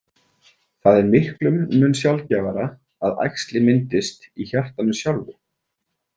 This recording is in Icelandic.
Það er miklum mun sjaldgæfara að æxli myndist í hjartanu sjálfu.